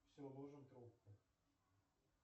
все ложим трубку